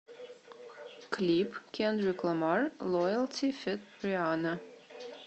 клип кендрик ламар лоялти фит рианна